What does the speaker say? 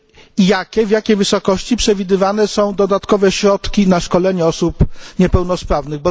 i w jakiej wysokości przewidywane są dodatkowe środki na szkolenia osób niepełnosprawnych?